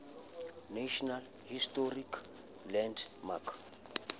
national historic landmark